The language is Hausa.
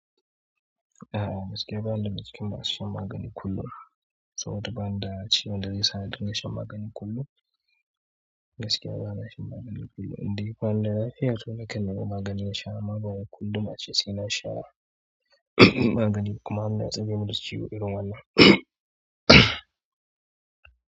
A'a gaskiya ba na da cikin masu shan magani kullum. Saboda bani da ciwon da zai sa na dinga shan magani kullum. Gaskiya ba na shan magani kullum, indai bani da lafiya na kan nemi magani in sha. Maganin kullum ace sai na sha magani kuma har na tsame min da ciwo irin wannan.